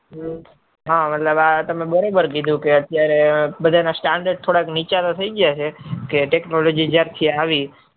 હા મતલબ તમે બરોબર ક્યુ છે કે અતયારે બધાના stander નીચા થઇ ગયા કે technology જયાર થી આવી